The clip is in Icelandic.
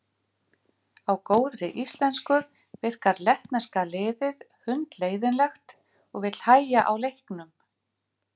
Á góðri íslensku virkar lettneska liði hundleiðinlegt og vill hægja á leiknum.